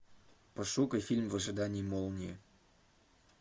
пошукай фильм в ожидании молнии